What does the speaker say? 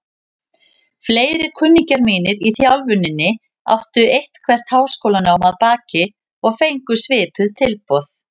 Fleiri kunningjar mínir í þjálfuninni áttu eitthvert háskólanám að baki og fengu svipuð tilboð.